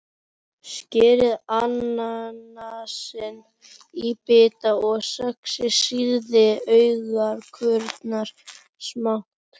Skerið ananasinn í bita og saxið sýrðu agúrkurnar smátt.